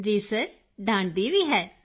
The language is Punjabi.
ਕ੍ਰਿਤਿਕਾ ਜੀ ਸਰ ਡਾਂਟਦੀ ਵੀ ਹੈ